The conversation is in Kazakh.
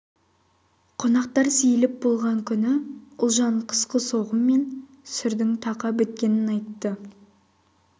қонақтар сейіліп болған күні ұлжан қысқы соғым мен сүрдің тақа біткенін айтты